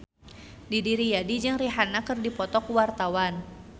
Didi Riyadi jeung Rihanna keur dipoto ku wartawan